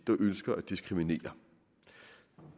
der ønsker at diskriminere